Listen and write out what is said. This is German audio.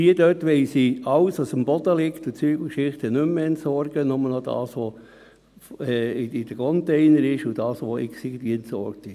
Dort wollen sie alles, was auf dem Boden liegt, so Zeug und Geschichten, nicht mehr entsorgen, nur noch das, was in den Containern ist und das, was irgendwie entsorgt wird.